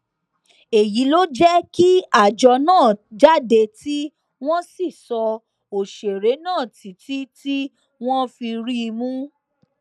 èyí ló jẹ kí àjọ náà jáde tí wọn sì sọ òṣèré náà títí tí wọn fi rí i mú